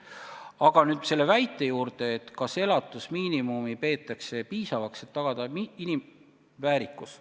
Aga nüüd selle väite juurde, kas elatusmiinimumi peetakse piisavaks, et tagada inimväärikus.